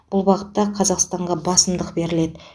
бұл бағытта қазақстанға басымдық беріледі